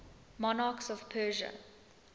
monarchs of persia